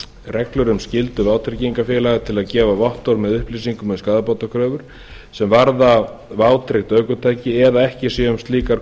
reglur um skyldu vátryggingafélaga til að gefa vottorð með upplýsingum um skaðabótakröfur sem varða vátryggt ökutæki eða að ekki sé um slíkar